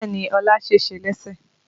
Bẹ́ẹ̀ni Ọlá sèse lẹ́sẹ̀